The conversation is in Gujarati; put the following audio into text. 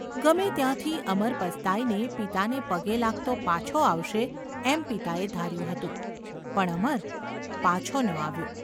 ગમે ત્યાંથી અમર પસ્તાઈને પિતાને પગે લાગતો પાછો આવશે એમ પિતાએ ધાર્યું હતું, પણ, અમર પાછો ન આવ્યો.